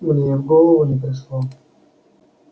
мне и в голову не пришло